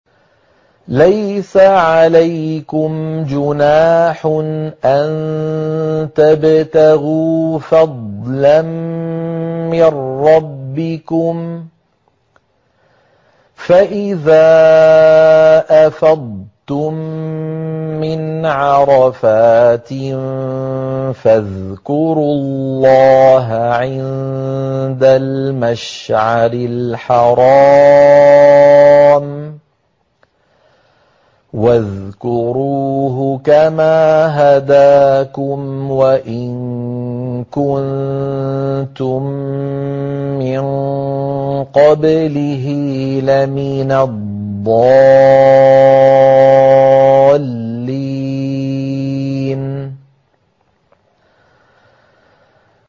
لَيْسَ عَلَيْكُمْ جُنَاحٌ أَن تَبْتَغُوا فَضْلًا مِّن رَّبِّكُمْ ۚ فَإِذَا أَفَضْتُم مِّنْ عَرَفَاتٍ فَاذْكُرُوا اللَّهَ عِندَ الْمَشْعَرِ الْحَرَامِ ۖ وَاذْكُرُوهُ كَمَا هَدَاكُمْ وَإِن كُنتُم مِّن قَبْلِهِ لَمِنَ الضَّالِّينَ